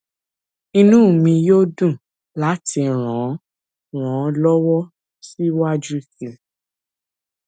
inú mi yóò dùn láti ràn ràn ọ lọwọ síwájú sí i